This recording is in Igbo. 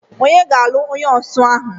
Ònye ga-alụ onye osu ahụ?